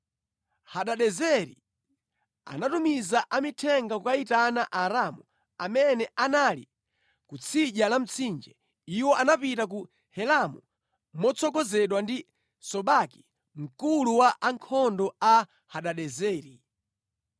Hadadezeri anatumiza amithenga kukayitana Aaramu amene anali ku tsidya la Mtsinje, iwo anapita ku Helamu motsogozedwa ndi Sobaki mkulu wa ankhondo a Hadadezeri.